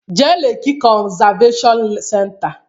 Jee Leki konzaveshon senta!